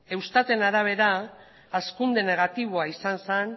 eustaten arabera hazkunde negatiboa izan zen